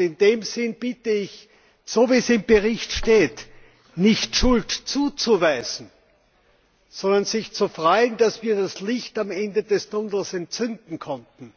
In diesem Sinne bitte ich, so wie es im Bericht steht, nicht Schuld zuzuweisen, sondern sich zu freuen, dass wir das Licht am Ende des Tunnels entzünden konnten.